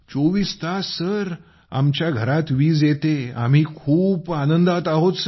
24 तास सर आमच्या घरात वीज येते आणि आम्ही खूप आनंदात आहोत